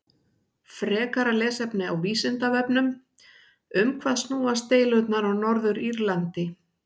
Frekara lesefni á Vísindavefnum: Um hvað snúast deilurnar á Norður-Írlandi?